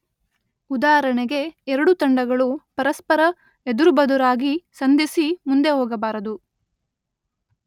ಉದಾಹರಣೆಗೆ ಎರಡು ತಂಡಗಳು ಪರಸ್ಪರ ಎದುರುಬದುರಾಗಿ ಸಂಧಿಸಿ ಮುಂದೆ ಹೋಗಬಾರದು.